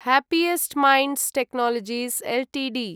happiest Minds Technologies Ltd